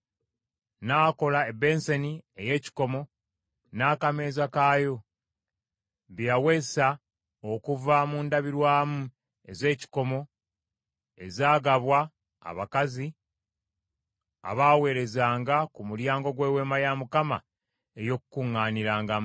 N’akola ebbensani ey’ekikomo n’akameeza kaayo, bye yaweesa okuva mu ndabirwamu ez’ekikomo ezaagabwa abakazi abaaweerezanga ku mulyango gw’Eweema ey’Okukuŋŋaanirangamu.